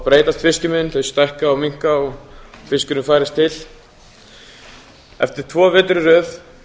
breytast fiskimiðin þau stækka og minnka og fiskurinn færist til eftir tvo vetur í röð